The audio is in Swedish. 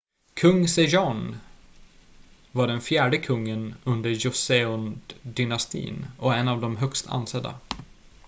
kung sejong var den fjärde kungen under joseondynastin och är en av de högst ansedda